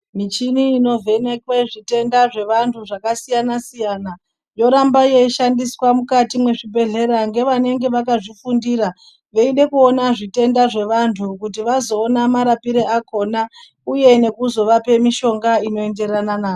Michini inovhenekwe zvitenda zvevantu zvakasiyana siyana yoramba yeishandiswa mukati mwezvibhedhlera nevanenge vakazvifundira veide kuona zvitenda zvevantu kuti vazoona marapire akona uye nekuzovape mishonga inoendera nazvo.